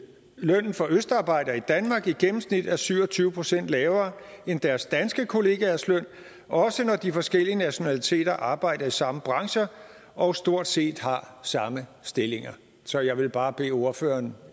lønnen for østarbejdere i danmark i gennemsnit er syv og tyve procent lavere end deres danske kollegaers løn også når de forskellige nationaliteter arbejder i samme brancher og stort set har samme stillinger så jeg vil bare bede ordføreren